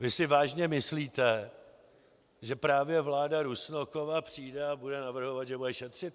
Vy si vážně myslíte, že právě vláda Rusnokova přijde a bude navrhovat, že bude šetřit?